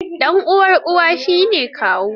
Ɗan uwan Uwa, shi ne Kawu.